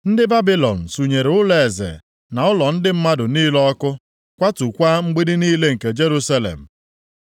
Ndị Babilọn sunyere ụlọeze na ụlọ ndị mmadụ niile ọkụ, kwatukwa mgbidi niile nke Jerusalem.